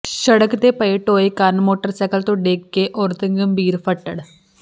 ਸੜਕ ਤੇ ਪਏ ਟੋਏ ਕਾਰਨ ਮੋਟਰਸਾਈਕਲ ਤੋਂ ਡਿੱਗ ਕੇ ਔਰਤ ਗੰਭੀਰ ਫੱਟੜ